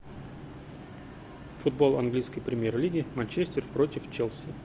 футбол английской премьер лиги манчестер против челси